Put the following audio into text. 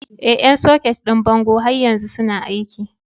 Ee, ƴan soket ɗin bango har yanzu suna aiki.